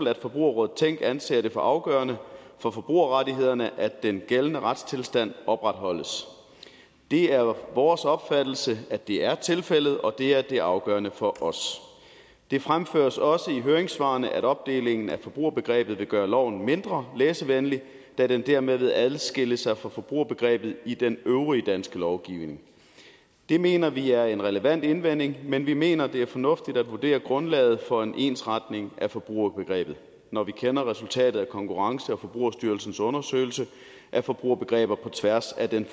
at forbrugerrådet tænk anser det for afgørende for forbrugerrettighederne at den gældende retstilstand opretholdes det er vores opfattelse at det er tilfældet og det er det afgørende for os det fremføres også i høringssvarene at opdelingen af forbrugerbegrebet vil gøre loven mindre læsevenlig da den dermed vil adskille sig fra forbrugerbegrebet i den øvrige danske lovgivning det mener vi er en relevant indvending men vi mener det er fornuftigt at vurdere grundlaget for en ensretning af forbrugerbegrebet når vi kender resultatet af konkurrence og forbrugerstyrelsens undersøgelse af forbrugerbegreber på tværs af den